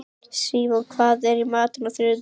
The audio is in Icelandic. Símon, hvað er í matinn á þriðjudaginn?